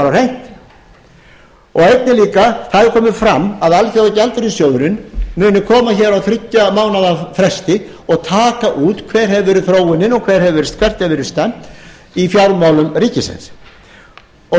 einnig líka hefur það komið fram að alþjóðagjaldeyrissjóðurinn muni koma hér á þriggja mánaða fresti og taka út hver hefur verið þróunin og hvert hefur verið stefnt í fjármálum ríkisins þá